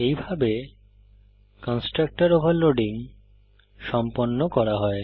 এইভাবে constructor overloading সম্পন্ন করা হয়